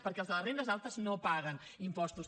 perquè els de les rendes altes no paguen impostos